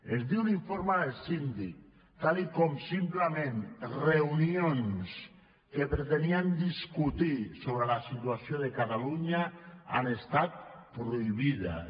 es diu a l’informe del síndic com ara que simplement reunions que pretenien discutir sobre la situació de catalunya han estat prohibides